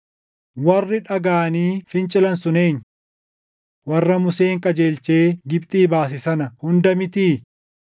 Warri dhagaʼanii fincilan sun eenyu? Warra Museen qajeelchee Gibxii baase sana hunda mitii?